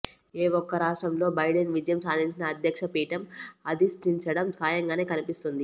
ఏ ఒక్క రాష్ట్రంలో బైడెన్ విజయం సాధించిన అధ్యక్ష పీఠం అధిష్టించడం ఖాయంగానే కనిపిస్తోంది